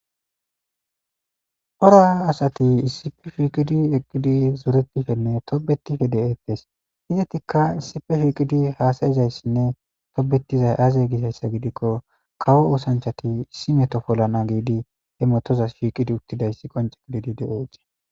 Cora asati issife shiiqidi eqqidi zuretifenne tobetife de7ettes izetikka issife shiqidi haasayizayssinne tobetizay aaze gisayssa gidikko kawo oosanchati issi metopolana giidi he motozas shiiqidi uttidayssi qonce gididi de7ote